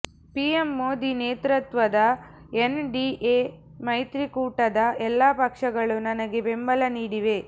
PM Modi ನೇತೃತ್ವದ NDA ಮೈತ್ರಿಕೂಟದ ಎಲ್ಲ ಪಕ್ಷಗಳು ನನಗೆ ಬೆಂಬಲ ನೀಡಿವೆ